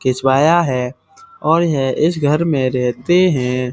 खिंचवाया है और यह इस घर में रहते हैं।